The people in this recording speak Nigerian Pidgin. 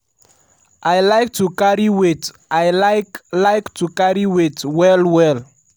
i like to carry weight i like like to carry weight well-well''.